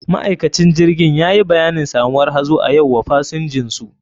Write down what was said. Ma'aikacin jirgin yayi bayanin samuwar hazo a yau wa pasinjinsu.